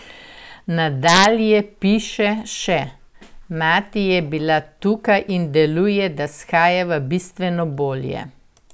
Nadalje piše še: "Mati je bila tukaj in deluje, da shajava bistveno bolje.